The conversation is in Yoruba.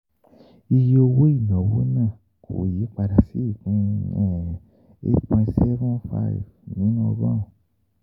Iye owó ìnáwó náà kò yí padà sí ìpín eight point seven five nínú ọgọ́rùn-ún.